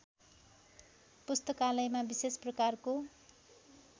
पुस्तकालयमा विशेष प्रकारको